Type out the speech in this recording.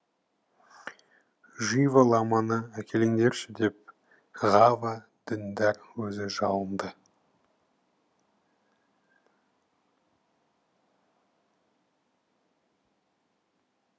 жива ламаны әкеліңдерші деп ғава діндар өзі жалынды